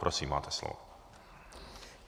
Prosím, máte slovo.